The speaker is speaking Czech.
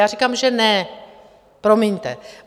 Já říkám, že ne, promiňte.